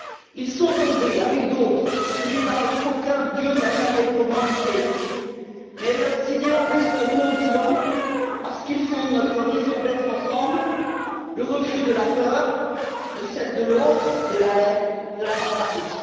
Ils sont tombés avec d'autres sous des balles qu'aucun dieu n'a jamais commanditées. Mais leurs idéaux resteront vivants parce qu'ils font notre raison d'être ensemble le refus de la peur, de celle de l'autre, de la haine, de la barbarie.